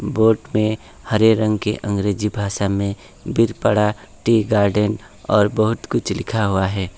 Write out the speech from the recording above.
Boat में हरे रंग के अंग्रेजी भाषा में बीर पड़ा टी गार्डेन और बहुत कुछ लिखा हुआ है।